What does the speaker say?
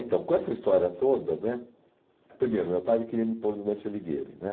Então, com essa história toda né, primeiro, meu pai queria me pôr no Dante Alighieri.